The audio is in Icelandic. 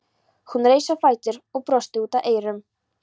Hún reis á fætur og brosti út að eyrum.